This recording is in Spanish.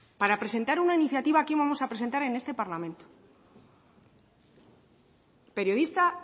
para presentar una iniciativa que íbamos a presentar en este parlamento periodista